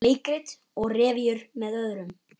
Leikrit og revíur með öðrum